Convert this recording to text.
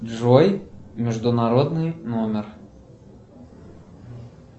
джой международный номер